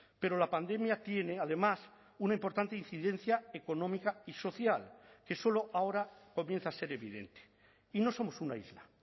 pero la pandemia tiene además una importante incidencia económica y social que solo ahora comienza a ser evidente y no somos una isla